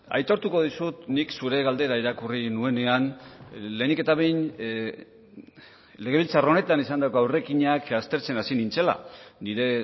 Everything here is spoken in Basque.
aitortuko dizut nik zure galdera irakurri nuenean lehenik eta behin legebiltzar honetan izandako aurrekinak aztertzen hasi nintzela nire